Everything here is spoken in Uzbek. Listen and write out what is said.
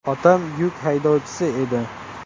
Otam yuk haydovchisi edi.